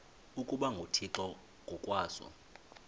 ukuba nguthixo ngokwaso